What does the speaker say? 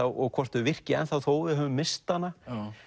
og hvort þau virki þó við höfum misst hana